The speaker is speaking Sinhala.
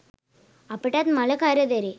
අපටත් මල කරදරේ.